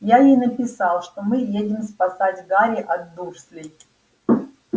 я ей написал что мы едем спасать гарри от дурслей